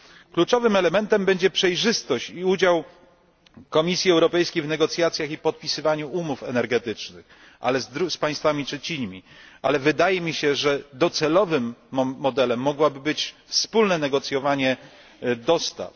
Kluczowym elementem będzie przejrzystość i udział Komisji Europejskiej w negocjacjach i podpisywaniu umów energetycznych z państwami trzecimi, ale wydaje mi się, że docelowym modelem mogłoby być wspólne negocjowanie dostaw.